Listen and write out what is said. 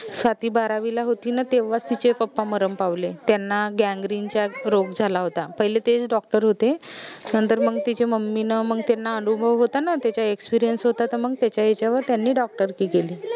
स्वाती बारावीला होती न तेव्हा तिचे papa मरन पावले त्यांना गँगरीनचा रोग झाला होता पहिले तेच doctor होते नंतर मंग तिचे mummy न मंग त्यांना अनुभव होता न त्याचा experience होता तर मंग त्याच्या याच्यावर त्यांनी doctor की केली